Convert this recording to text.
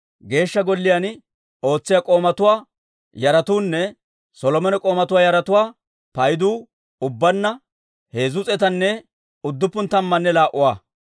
Geeshsha Golliyaan ootsiyaa k'oomatuwaa yaratuunne Solomone k'oomatuwaa yaratuwaa paydu ubbaanna heezzu s'eetanne udduppun tammanne laa"uwaa.